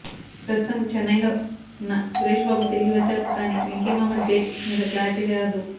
ప్రస్తుతం చెన్నయ్ లో వున్న సురేష్ బాబు తిరిగి వచ్చాక కానీ వెంకీ మామ డేట్ మీద క్లారిటీరాదు